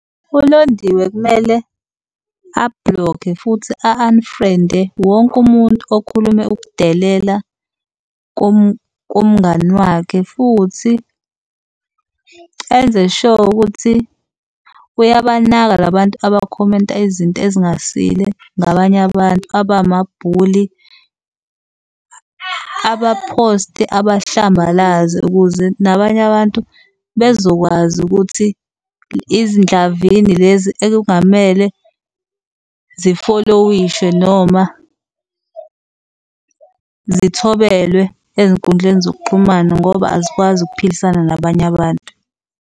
ULondiwe kumele a-block-e, futhi a-unfriend-e wonke umuntu okhulume ukudelela kumngani wakhe. Futhi enze sho ukuthi uyabanaka la bantu abakhomenta izinto ezingasile ngabanye abantu, abama-bully. Aba-post-e abahlambalaze ukuze nabanye abantu bezokwazi ukuthi izindlavini lezi ekungamele zifolowishwe noma zithobelwe ezinkundleni zokuxhumana ngoba azikwazi ukuphilisana nabanye abantu.